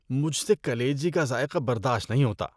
مجھ سے کلیجی کا ذائقہ برداشت نہیں ہوتا۔